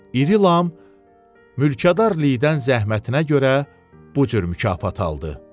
İri Lam mülkədarlıqdan zəhmətinə görə bu cür mükafat aldı.